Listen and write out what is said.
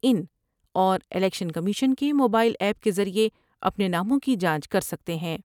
اِین اور election commission کے mobile app کے ذریعہ اپنے ناموں کی جانچ کر سکتے ہیں ۔